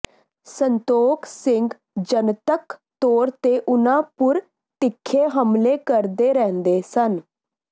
ਸੰਤੋਖ ਸਿੰਘ ਜਨਤਕ ਤੋਰ ਤੇ ਉਨ੍ਹਾਂ ਪੁਰ ਤਿਖੇ ਹਮਲੇ ਕਰਦੇ ਰਹਿੰਦੇ ਸਨ